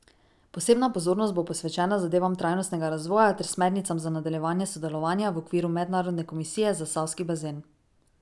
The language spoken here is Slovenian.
Posebna pozornost bo posvečena zadevam trajnostnega razvoja ter smernicam za nadaljevanje sodelovanja v okviru Mednarodne komisije za Savski bazen.